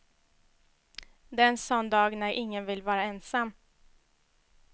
Det är en sån dag när ingen vill vara ensam.